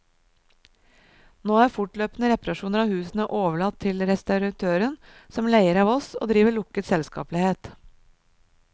Nå er fortløpende reparasjoner av husene overlatt til restauratøren som leier av oss og driver lukket selskapelighet.